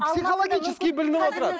психологически білініп отырады